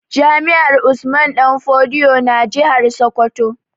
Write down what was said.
Jami'ar Usman danfodiyo na jihar Sokoto